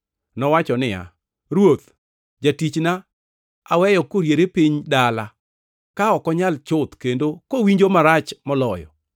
Nowacho niya, “Ruoth, jatichna aweyo koriere piny dala, ka ok onyal chuth, kendo kowinjo marach moloyo.”